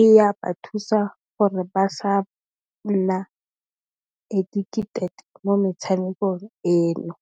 e ya ba thusa gore ba sa nna addicted mo metshamekong eno.